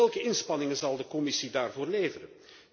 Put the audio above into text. Maar welke inspanningen zal de Commissie daarvoor leveren?